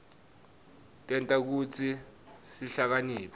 tenta kutsi sihlakaniphe